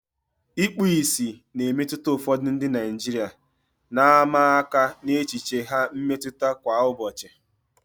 Ikpu ìsì na-emetụta ụfọdụ ndị Naijiria, na-ama aka n'echiche ha mmetụta kwa ụbọchị.